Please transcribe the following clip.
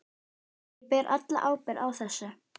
Ég ber alla ábyrgð á þessu.